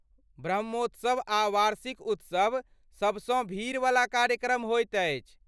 ब्रह्मोत्सव आ वार्षिक उत्सव सबसँ भीड़वला कार्यक्रम होइत अछि।